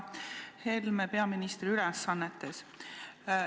Härra Helme peaministri ülesannetes!